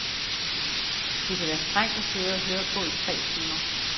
Det kan være strengt at sidde og høre på i tre timer.